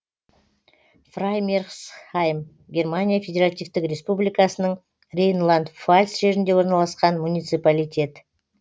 фраймерсхайм германия федеративтік республикасының рейнланд пфальц жерінде орналасқан муниципалитет